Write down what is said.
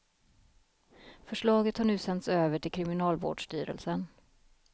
Förslaget har nu sänts över till kriminalvårdsstyrelsen.